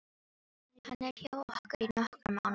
Hann er hjá okkur í nokkra mánuði.